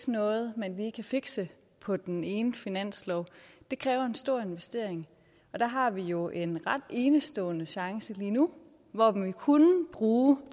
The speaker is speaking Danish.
noget man lige kan fikse på den ene finanslov det kræver en stor investering og der har vi jo en ret enestående chance lige nu hvor vi kunne bruge